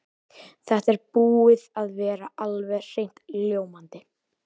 Þetta er búið að vera alveg hreint ljómandi.